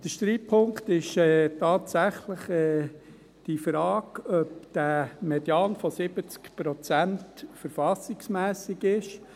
Der Streitpunkt ist tatsächlich die Frage, ob dieser Median von 70 Prozent verfassungsmässig ist.